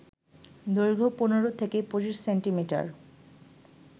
দৈর্ঘ্য ১৫ থেকে ২৫ সেন্টিমিটার